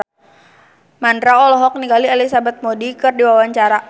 Mandra olohok ningali Elizabeth Moody keur diwawancara